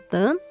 Tapdın?